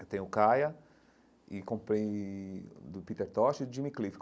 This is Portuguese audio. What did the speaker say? Eu tenho o Kaya e comprei do Peter Tosh e Jimmy Cliff.